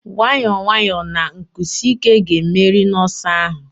Nwayọọ nwayọọ na nkwụsi ike ga-emeri n'ọsọ ahụ.